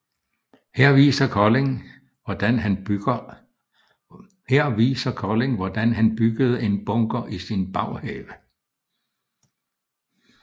Her viser Colin hvordan han byggede en bunker i sin baghave